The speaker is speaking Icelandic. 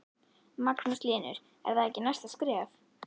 Magnús Hlynur: Er það ekki næsta skref?